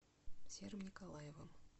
серым николаевым